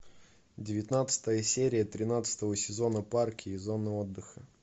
девятнадцатая серия тринадцатого сезона парки и зоны отдыха